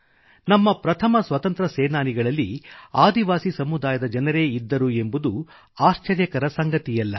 ನಮ್ಮ ಪ್ರಥಮ ಸ್ವತಂತ್ರ ಸೇನಾನಿಗಳಲ್ಲಿ ಆದಿವಾಸಿ ಸಮುದಾಯದ ಜನರೇ ಇದ್ದರು ಎಂಬುದು ಆಶ್ಚರ್ಯಕರ ಸಂಗತಿಯಲ್ಲ